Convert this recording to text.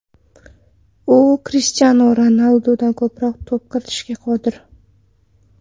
U Krishtianu Ronaldudan ko‘proq to‘p kiritishga qodir.